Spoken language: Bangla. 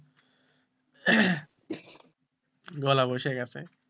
গলা বসে গেছে,